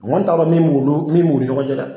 N kɔni t'a dɔn min b'u ni min b'u ni ɲɔgɔncɛ dɛ